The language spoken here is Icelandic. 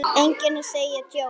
Enginn að segja djók?